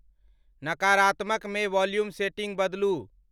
नकारात्मक मे volume setting बदलू।